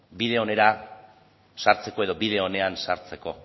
bide onera sartzeko edo bide onean sartzeko